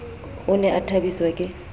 o ne a thabiswa ke